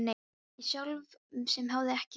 Ég sjálf sem hafði ekki áhuga.